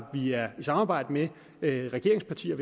vi er i samarbejde med regeringspartier